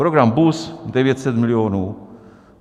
Program BUS 900 milionů.